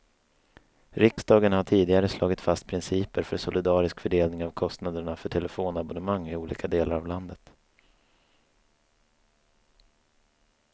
Riksdagen har tidigare slagit fast principer för solidarisk fördelning av kostnaderna för telefonabonnemang i olika delar av landet.